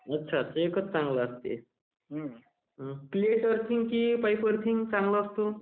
अच्छा एकच चांगले असतो.......प्लेट आर्थिंग की पाईप अर्थिंग चांगला असतो...